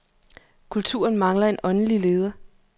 Kulturen mangler en åndelig leder.